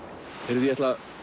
ég ætla að